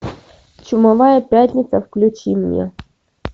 чумовая пятница включи мне